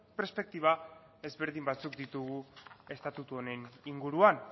perspektiba ezberdin batzuk ditugu estatutu honen inguruan